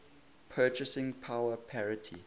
purchasing power parity